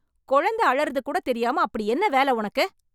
கொழந்த அழறது கூட தெரியாம அப்படி என்ன வேல உனக்கு?